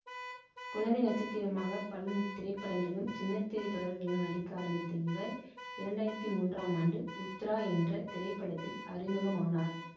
குழந்தை நட்சத்திரமாக பல திரைப்படங்களிலும் சின்ன திரை தொடர்களிலும் நடிக்க ஆரம்பித்த இவர் இரண்டு ஆயிரத்தி மூன்றாம் ஆண்டு உத்தரா என்ற திரைப்படத்தில் அறிமுகமானார்